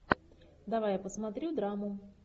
давай я посмотрю драму